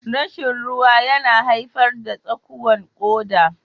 Rashin ruwa yana haifar da tsakuwan koda.